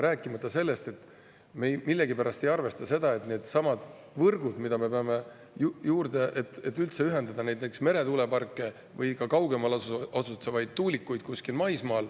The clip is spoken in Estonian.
Rääkimata sellest, et me millegipärast ei arvesta neid võrke, mida me peame juurde, et üldse ühendada näiteks meretuuleparke või ka kaugemal maismaal asetsevaid tuulikuid.